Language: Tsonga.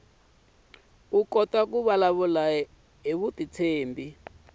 kota ku vulavula hi vutitshembi